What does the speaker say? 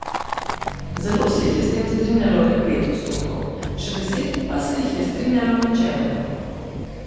Zelo se jih je s tem strinjalo le pet odstotkov, še deset pa se jih je strinjalo načeloma.